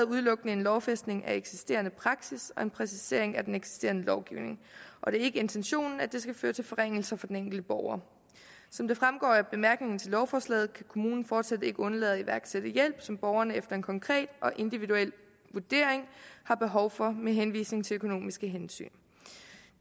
udelukkende en lovfæstning af eksisterende praksis og en præcisering af den eksisterende lovgivning og det er ikke intentionen at det skal føre til forringelser for den enkelte borger som det fremgår af bemærkningerne til lovforslaget kan kommunen fortsat ikke undlade at iværksætte hjælp som borgeren efter en konkret og individuel vurdering har behov for med henvisning til økonomiske hensyn